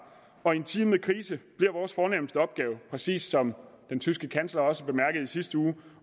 og i en tid med krise bliver vores fornemste opgave præcis som den tyske kansler også bemærkede i sidste uge